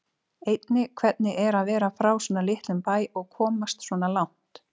Einnig hvernig er að vera frá svona litlum bæ og komast svona langt?